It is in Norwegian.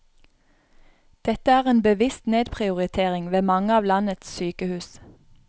Dette er en bevisst nedprioritering ved mange av landets sykehus.